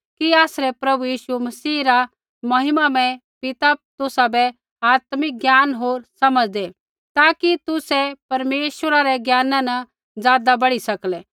कि आसरै प्रभु यीशु मसीह रा महिमामय पिता तुसाबै आत्मिक ज्ञान होर समझ़ दै ताकि तुसै परमेश्वरा रै ज्ञाना न ज़ादा बढ़ी सकलै